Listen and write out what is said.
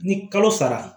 Ni kalo sara